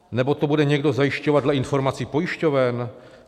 Nebo to bude někdo zajišťovat dle informací pojišťoven?